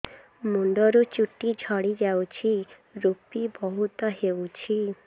ମୁଣ୍ଡରୁ ଚୁଟି ଝଡି ଯାଉଛି ଋପି ବହୁତ ହେଉଛି